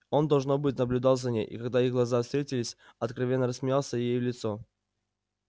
он должно быть наблюдал за ней и когда их глаза встретились откровенно рассмеялся ей в лицо